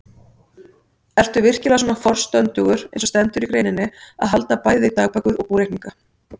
Ertu virkilega svona forstöndugur eins og stendur í greininni, að halda bæði dagbækur og búreikninga?